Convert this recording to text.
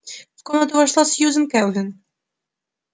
в комнату вошла сьюзен кэлвин